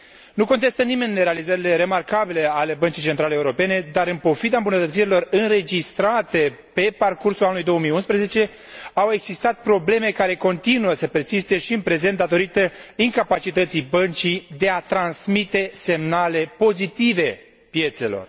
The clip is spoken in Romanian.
Nu contestă nimeni realizările remarcabile ale Băncii Centrale Europene, dar, în pofida îmbunătățirilor înregistrate pe parcursul anului 2011, au existat probleme care persistă și în prezent datorită incapacității Băncii de a transmite semnale pozitive piețelor.